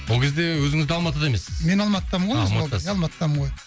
ол кезде өзіңіз де алматыда емессіз мен алматыдамын ғой а алматыдасыз иә алматыдамын ғой